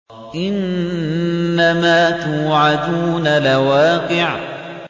إِنَّمَا تُوعَدُونَ لَوَاقِعٌ